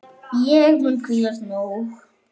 Ég mun hvílast nóg.